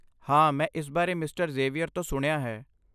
ਹਾਂ ਮੈਂ ਇਸ ਬਾਰੇ ਮਿਸਟਰ ਜ਼ੇਵੀਅਰ ਤੋਂ ਸੁਣਿਆ ਹੈ।